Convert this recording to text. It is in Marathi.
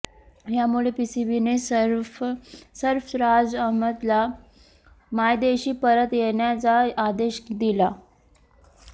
यामुळे पीसीबीने सर्फराज अहमदला मायदेशी परत येण्याचा आदेश दिला